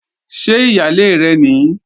Ṣé ìyálé rẹ̀ nìí?